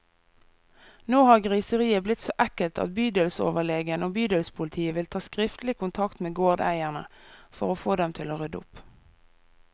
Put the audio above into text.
Nå har griseriet blitt så ekkelt at bydelsoverlegen og bydelspolitiet vil ta skriftlig kontakt med gårdeierne, for å få dem til å rydde opp.